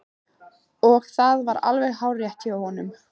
Og það er alveg hárrétt hjá honum.